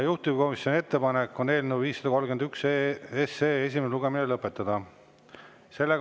Juhtivkomisjoni ettepanek on eelnõu 531 esimene lugemine lõpetada.